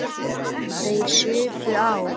Þeir supu á.